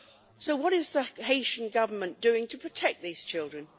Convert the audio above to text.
So what is the Haitian Government doing to protect these children?